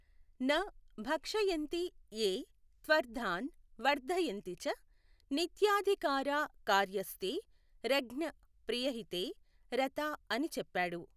న భక్షయంతి యే త్వర్థాన్ వర్ధయంతి చ, నిత్యాధికారా కార్యాస్తే రజ్ఞ్ ప్రియహితే రతా అని చెప్పాడు.